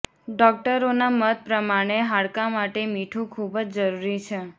ડોકટરોના મત પ્રમાણે હાડકાં માટે મીઠું ખૂબ જ જરૂરી છે